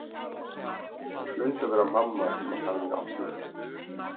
Það hlaut að vera mamma sem hann hafði átt við.